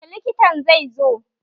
Yaushe likitan zai zo?